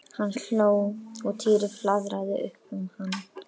Hann hló og Týri flaðraði upp um hann.